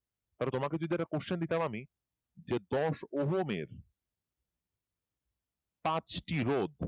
তাহলে তোমাকে যদি একটা question দিতাম আমি যে দশ ওহমের পাঁচটি রোধ